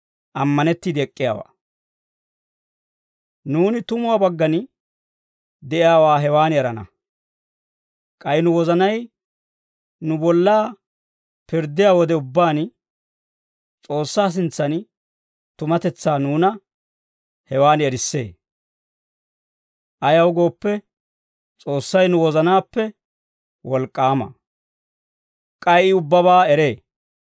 Nuuni tumuwaa baggan de'iyaawaa hewan erana; k'ay nu wozanay nu bolla pirddiyaa wode ubbaan, S'oossaa sintsan tumatetsaa nuuna hewan erissee. Ayaw gooppe, S'oossay nu wozanaappe wolk'k'aama; k'ay I ubbabaa eree.